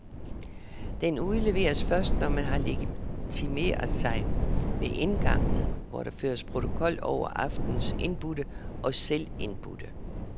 Den udleveres først, når man har legitimeret sig ved indgangen, hvor der føres protokol over aftenens indbudte og selvindbudte.